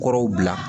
Kɔrɔw bila